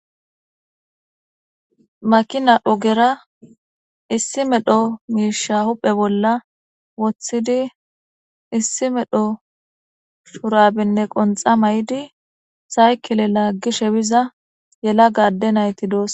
Makina ogera issi medho misha hu'e bolla wothidi issi medho shurabene qonxa mayidi saykile lagishe biza yelaga ade nayti dosona.